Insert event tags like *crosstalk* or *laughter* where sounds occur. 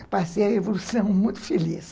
*laughs* Eu passei a evolução muito feliz.